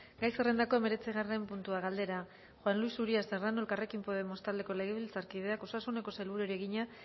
gai zerrendako hemeretzigarren puntua galdera juan luis uria serrano elkarrekin podemos taldeko legebiltzarkideak osasuneko sailburuari egina